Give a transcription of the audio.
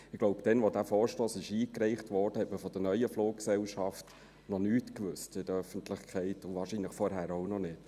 Ich glaube, als der Vorstoss eingereicht wurde, wusste man in der Öffentlichkeit noch nichts von der neuen Fluggesellschaft und wahrscheinlich vorher auch noch nicht.